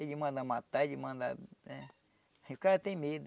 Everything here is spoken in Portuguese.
Ele manda matar, ele manda... O cara tem medo.